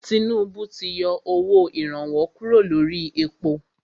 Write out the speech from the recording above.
Tinúbú ti yọ owó ìrànwọ́ kúrò lórí èpo.